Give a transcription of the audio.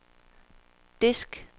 disk